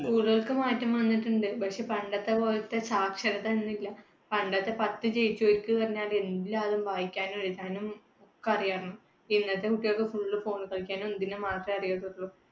മാറ്റം വന്നിട്ടുണ്ട് പക്ഷേ പണ്ടത്തെപ്പോലത്തെ സാക്ഷരത ഇന്നില്ല. പണ്ടത്തെ പത്ത് ജയിച്ചവർക്ക് പറഞ്ഞാല്‍ എല്ലാതും വായിക്കാനും എഴുതാനും ഒക്കെ അറിയാര്‍ന്നു, ഇന്നത്തെ കുട്ടികൾക്ക് full phone ൽ കളിക്കാനും ഇതിനും മാത്രേ അറിയുള്ളൂ.